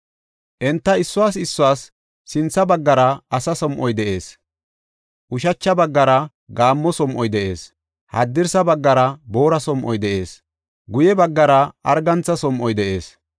Enta issuwas issuwas sintha baggara asa som7oy de7ees; ushacha baggara gaammo som7oy de7ees; haddirsa baggara boora som7oy de7ees; guye baggara argantha som7oy de7ees.